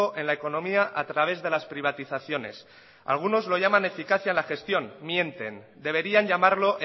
en la economía a través de las privatizaciones algunos lo llaman eficacia en la gestión mienten deberían llamarlo